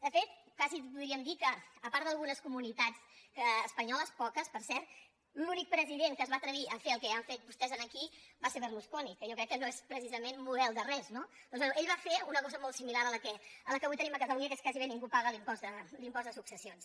de fet quasi podríem dir que a part d’algunes comunitats espanyoles poques per cert l’únic president que es va atrevir a fer el que han fet vostès aquí va ser berlusconi que jo crec que no és precisament model de res no doncs bé ell va fer una cosa molt similar a la que avui tenim a catalunya que és que gairebé ningú paga l’impost de successions